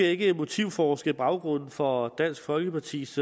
ikke motivforske i baggrunden for dansk folkepartis